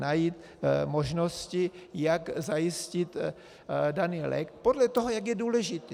najít možnosti, jak zajistit daný lék podle toho, jak je důležitý.